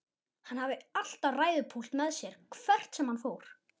Hann hafði alltaf ræðupúlt með sér hvert sem hann fór.